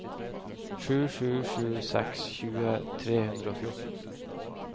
sju sju sju seks tjue tre hundre og fjorten